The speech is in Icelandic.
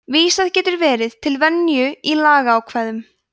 vísað getur verið til venju í lagaákvæðum